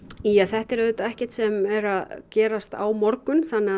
þetta er ekkert sem er að gerast á morgun þannig